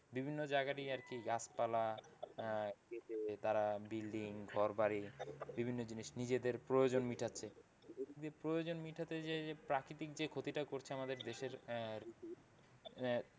বিভিন্ন জায়গারই আর কি গাছপালা আহ কেটে তার building ঘরবাড়ি বিভিন্ন জিনিস নিজেদের প্রয়োজন মিটাতে নিজেদের প্রয়োজন মিটাতে যেয়ে এই যে প্রাকৃতিক যে ক্ষতিটা করছে আমাদের দেশের,